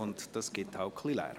Das erzeugt eben Lärm.